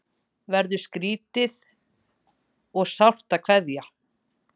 Verður skrýtið og sárt að kveðja